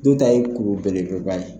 Do ta ye kuru belebeleba ye.